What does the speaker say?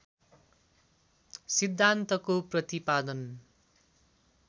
सिद्धान्तको प्रतिपादन